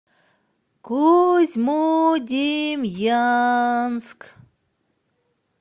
козьмодемьянск